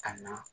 Ka na